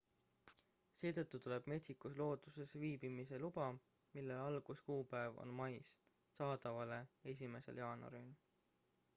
seetõttu tuleb metsikus looduses viibimise luba mille alguskuupäev on mais saadavale 1 jaanuaril